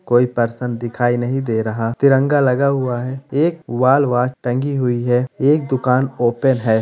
कोई पर्सन दिखाई नहीं दे रहा तिरंगा लगा हुआ है एक वाल वाच टंगी हुई है एक दुकान ओपन है।